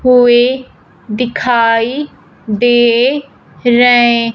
हुए दिखाई दे रहे--